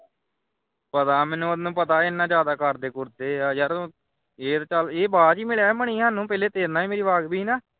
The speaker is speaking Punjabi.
ਪਤਾ ਮੈਨੂੰ ਉਹਨੂੰ ਪਤਾ ਇਹਦੇ ਨਾਲ ਜ਼ਿਆਦਾ ਕਰਦੇ ਕੂਰਦੇ ਹਾਂ ਯਾਰ ਇਹ ਚਲ ਇਹ ਬਾਅਦ ਦੇ ਵਿੱਚ ਹੀ ਮਿਲਿਆ ਸੀ ਮਨੀ ਸਾਨੂੰ ਪਹਿਲੇ ਤੇਰੇ ਨਾਲ ਹੀ ਮੇਰੀ ਵਾਪਰੀ ਵੀ ਸੀਨਾ